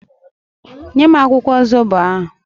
Nye m akwụkwọ zobo ahụ!